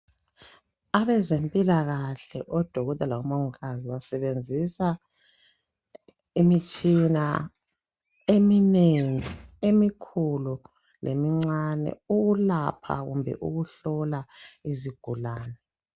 Abezempilakahle omongikazi labodokotela basebenzisa imitshina eminengi emikhulu lemncani ukula lokuhlola izigulani